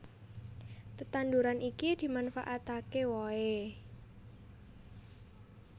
Tetanduran iki dimanfaataké wohé